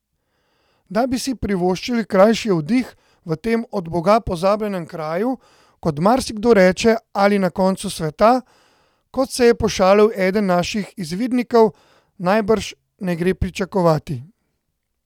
Da bi si privoščili krajši oddih v tem od boga pozabljenem kraju, kot marsikdo reče, ali na koncu sveta, kot se je pošalil eden naših izvidnikov, najbrž ne gre pričakovati.